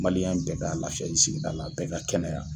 Maliyɛn bɛɛ ka lafiyali sigida la bɛɛ ka kɛnɛya